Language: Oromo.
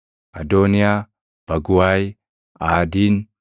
Adooniyaa, Baguwaay, Aadiin,